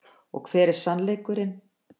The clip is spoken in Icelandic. Og hver er sannleikurinn.